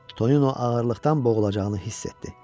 Tonino ağırlıqdan boğulacağını hiss etdi.